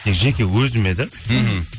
тек жеке өзіме да мхм